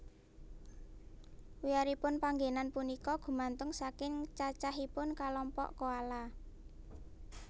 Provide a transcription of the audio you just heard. Wiyaripun panggénan punika gumantung saking cacahipun kalompok koala